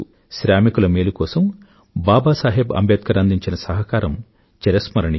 శ్రామికుల మేలు కోసం బాబాసాహెబ్ అంబేడ్కర్ అందించిన సహకారం చిరస్మరణీయం